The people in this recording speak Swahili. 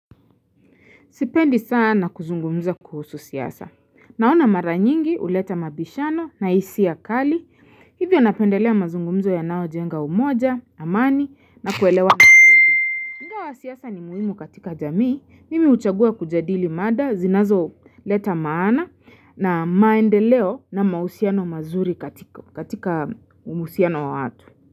Sipendi sana kuzungumza kuhusu siasa. Naona maranyingi uleta mabishano na isia kali. Hivyo napendelea mazungumzo yanayo jenga umoja, amani na kuelewa. Ingawa siasa ni muhimu katika jamii, mimi uchagua kujadili mada zinazo leta maana na maendeleo na mausiano mazuri katika uhusiano wa watu.